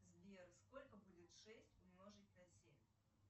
сбер сколько будет шесть умножить на семь